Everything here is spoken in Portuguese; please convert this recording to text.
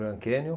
Grand Canyon.